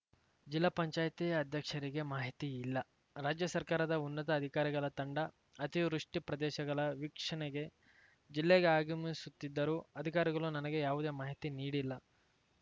ಜಿಲ್ಲಾ ಪಂಚಾಯ್ತಿ ಅಧ್ಯಕ್ಷರಿಗೆ ಮಾಹಿತಿಯಿಲ್ಲ ರಾಜ್ಯ ಸರ್ಕಾರದ ಉನ್ನತ ಅಧಿಕಾರಿಗಳ ತಂಡ ಅತಿವೃಷ್ಟಿಪ್ರದೇಶಗಳ ವೀಕ್ಷಣೆಗೆ ಜಿಲ್ಲೆಗೆ ಆಗಮಿಸುತ್ತಿದ್ದರೂ ಅಧಿಕಾರಿಗಳು ನನಗೆ ಯಾವುದೇ ಮಾಹಿತಿ ನೀಡಿಲ್ಲ